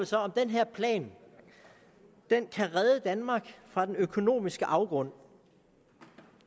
så om den her plan kan redde danmark fra den økonomiske afgrund